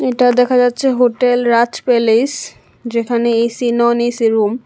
এটা দেখা যাচ্ছে হোটেল রাজ প্যালেস যেখানে এ_সি নন এ_সি রুম ।